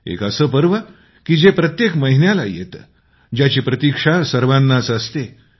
एक असं पर्व की जे प्रत्येक महिन्याला येतं ज्याची प्रतीक्षा सर्वांनाच असते